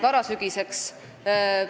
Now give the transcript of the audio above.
Aitäh, peaminister!